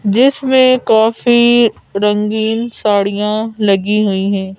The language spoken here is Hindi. जिसमें काफी रंगीन साड़ियां लगी हुई हैं।